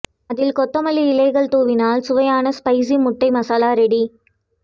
அதில் கொத்தமல்லி இலைகள் துவினால் சுவையான ஸ்பைசி முட்டை மசாலா ரெடி